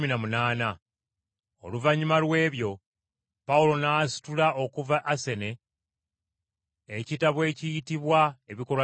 Oluvannyuma lw’ebyo, Pawulo n’asitula okuva mu Asene n’alaga mu Kkolinso.